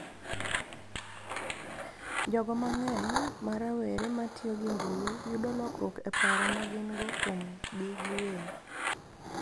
Jogo mang�eny ma rowere ma tiyo gi mbui yudo lokruok e paro ma gin-go kuomgi giwegi